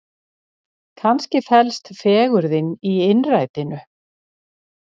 Kannski felst fegurðin í innrætinu?